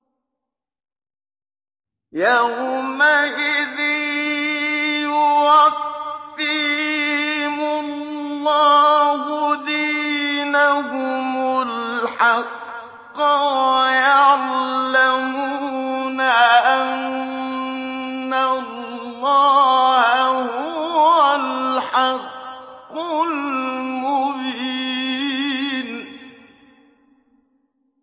يَوْمَئِذٍ يُوَفِّيهِمُ اللَّهُ دِينَهُمُ الْحَقَّ وَيَعْلَمُونَ أَنَّ اللَّهَ هُوَ الْحَقُّ الْمُبِينُ